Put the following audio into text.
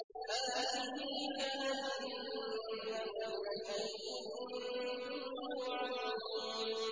هَٰذِهِ جَهَنَّمُ الَّتِي كُنتُمْ تُوعَدُونَ